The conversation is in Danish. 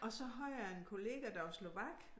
Og så havde jeg en kollega der var slovak